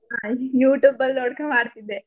ಹಾ youtube ಅಲ್ ನೋಡ್ಕೋ ಮಾಡ್ತಿದ್ದೆ.